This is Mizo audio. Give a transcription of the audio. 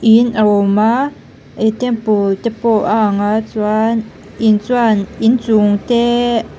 in a awm a ihh temple te pawh a ang a chuan in chuan inchung te --